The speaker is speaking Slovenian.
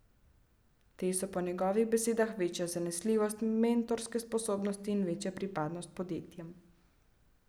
Te so po njegovih besedah večja zanesljivost, mentorske sposobnosti in večja pripadnost podjetjem.